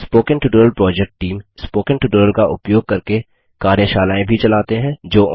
spoken tutorial project team spoken tutorial का उपयोग करके कार्यशालाएँ भी चलाते हैं